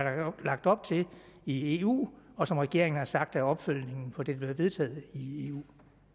lagt op til i eu og som regeringen har sagt er opfølgningen på det der bliver vedtaget i eu